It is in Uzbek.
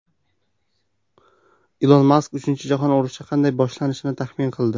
Ilon Mask uchinchi jahon urushi qanday boshlanishini taxmin qildi.